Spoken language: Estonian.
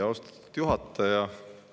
Austatud juhataja!